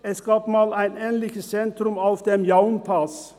Es gab einmal ein ähnliches Zentrum auf dem Jaun-Pass.